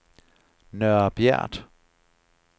Nørre Bjert